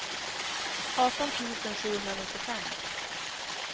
arton tusen sjuhundranittiofem